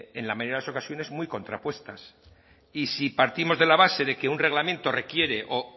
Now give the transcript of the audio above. en la mayoría de las ocasiones muy contrapuestas y si partimos de la base de que un reglamento requiere o